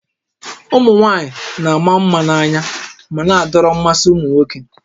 Ụmụ nwaanyị na-ama mma na-anya ma na-adọrọ mmasị ụmụ nwoke